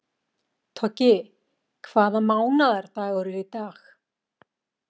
Toggi, hvaða mánaðardagur er í dag?